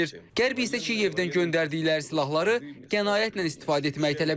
Qərb isə Kiyevdən göndərdikləri silahları qənaətlə istifadə etməyi tələb edir.